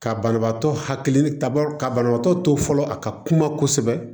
Ka banabaatɔ hakili ka banabaatɔ to fɔlɔ a ka kuma kosɛbɛ